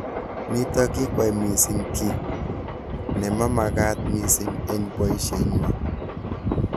Nitok kikwai mising ki nemamakat mising eng boishet nywa.